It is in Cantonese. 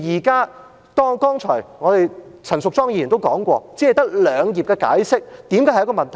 剛才陳淑莊議員也說過，為何只有兩頁的解釋會是一個問題呢？